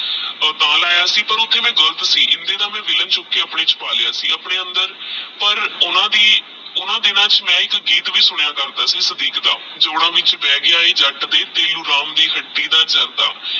ਤੇਹ ਲਾਯਾ ਸੀ ਤੇਹ ਮੈ ਓਹ੍ਨ੍ਠੇ ਗਲਤ ਸੀ ਇੰਡੇ ਦਾ ਮੈ ਵੀਲਾਂ ਚੂਕ ਕੇ ਆਪਣੇ ਚ ਪਾ ਲੇਯ ਸੀ ਆਪਣੇ ਅੰਦਰ ਪਰ ਓਹ੍ਨ੍ਦਾ ਦਿਨਾ ਚ ਮੈ ਏਕ ਗੀਤ ਵੀ ਸੁਣਦਾ ਕਰਦਾ ਸੀ ਸਾਦਿਕ ਦਾ ਜੋੜਾ ਵਿਚ ਬੇਹ ਗਯਾ ਆਹ ਜੱਟ ਦੇ ਤੈਨੂ ਰਾਮ ਦੇ ਹਟਤੀ ਦਾ ਜਰਦਾ